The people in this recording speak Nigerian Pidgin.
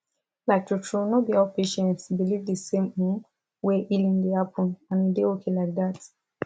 like truetrue no be all patients believe the same um way healing dey happen and e dey okay like that